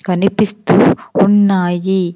కనిపిస్తూ ఉన్నాయి.